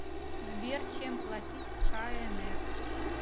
сбер чем платить в кнр